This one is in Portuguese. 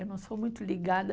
Eu não sou muito ligada.